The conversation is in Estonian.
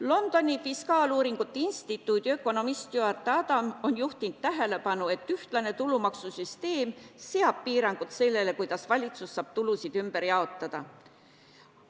Londoni Fiskaaluuringute Instituudi ökonomist Stuart Adam on juhtinud tähelepanu, et ühtlane tulumaksusüsteem seab piirangud sellele, kuidas valitsus saab tulusid ümber jaotada.